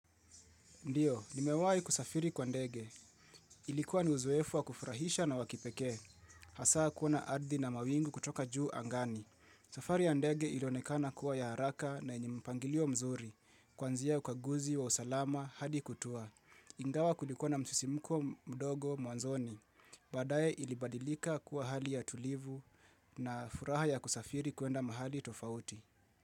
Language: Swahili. Ndiyo, nimewahi kusafiri kwa ndege. Ilikuwa ni uzoefu wa kufurahisha na wakipeke. Hasaa kuona ardhi na mawingu kutoka juu angani. Safari ya ndege ilionekana kuwa ya haraka na yenye mpangilio mzuri. Kwanzia ukaguzi wa usalama hadi kutua. Ingawa kulikuwa na msisimuko mdogo mwanzoni. Baadaye ilibadilika kuwa hali ya tulivu na furaha ya kusafiri kuenda mahali tofauti.